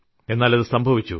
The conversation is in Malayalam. എന്നാൽ അത് സംഭവിച്ചു